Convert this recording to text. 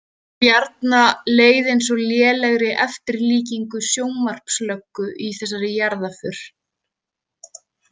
Bjarna leið eins og lélegri eftirlíkingu sjónvarpslöggu í þessari jarðarför.